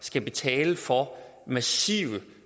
skal betale for massive